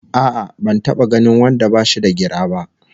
A'a ban taba ganin wanda bashi da gira ba!